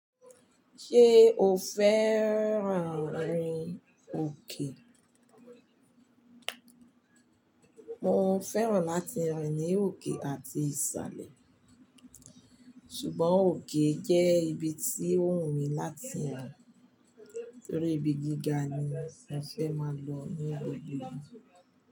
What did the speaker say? Ṣé o fẹ́ràn rin òkè? Mo fẹ́ràn láti rin ní òkè àti ìsàlẹ̀, ṣùgbọ́n òkè jẹ́ ibi tí ó wù mí láti rìn nítorí ibi gíga ni mo fẹ́ máa lọ ní gbogbo ìgbà.